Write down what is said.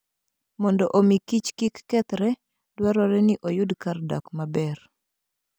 Mondo omi kich kik kethre, dwarore ni oyud kar dak maber.